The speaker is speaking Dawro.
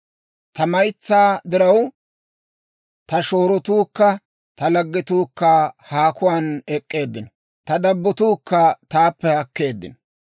Ta maytsaa diraw, ta shoorotuukka ta laggetuukka haakuwaan ek'k'eeddino. Ta dabbotuukka taappe haakkeeddino.